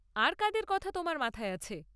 আর কাদের কথা তোমার মাথায় আছে?